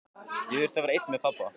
Ég þurfti að vera einn með pabba.